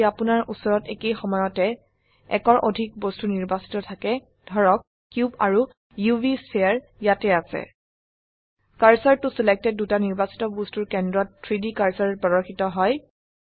যদি আপোনাৰ উচৰত একেই সময়তে একৰ অধিক বস্তু নিৰ্বাচিত থাকে ধৰক কিউব আৰু উভ স্ফিয়াৰ ইয়াত আছে কাৰ্চৰ ত ছিলেক্টেড দুটা নিৰ্বাচিত বস্তুৰ কেন্দ্ৰত 3ডি কাৰ্সাৰ প্ৰদৰ্শিত হয়